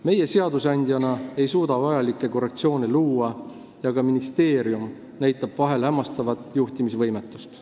Meie seadusandjana ei suuda vajalikke korrektsioone luua ja ka ministeerium näitab vahel üles hämmastavat juhtimisvõimetust.